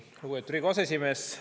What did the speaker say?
Lugupeetud Riigikogu aseesimees!